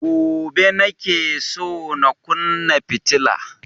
Gobe nake so na kunna fitila